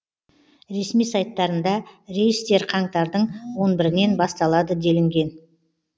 ресми сайттарында рейстер қаңтардың он бірінен басталады делінген